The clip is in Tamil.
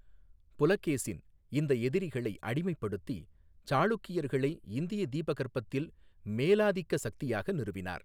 புலகேசின், இந்த எதிரிகளை அடிமைப்படுத்தி சாளுக்கியர்களை இந்திய தீபகற்பத்தில் மேலாதிக்க சக்தியாக நிறுவினார்.